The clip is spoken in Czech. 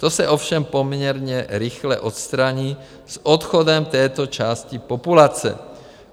To se ovšem poměrně rychle odstraní s odchodem této části populace.